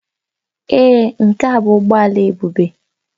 Èé, nke a bụ ụgbọ ala Ebube